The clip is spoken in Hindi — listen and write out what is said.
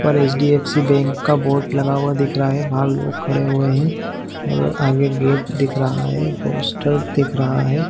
और एच.डी.फ.सी. बैंक का बोर्ड लगा हुआ दिख रहा है बाहर लोग खड़े हुए है और आगे गेट दिख रहा है हॉस्टल दिख रहा है।